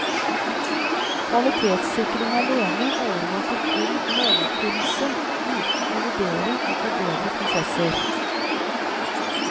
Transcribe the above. Kvalitetssikring alene overvåker kun måloppfyllelse uten å vurdere og forbedre prosesser.